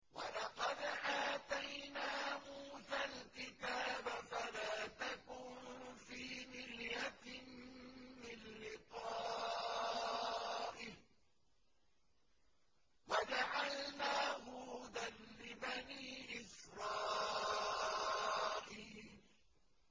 وَلَقَدْ آتَيْنَا مُوسَى الْكِتَابَ فَلَا تَكُن فِي مِرْيَةٍ مِّن لِّقَائِهِ ۖ وَجَعَلْنَاهُ هُدًى لِّبَنِي إِسْرَائِيلَ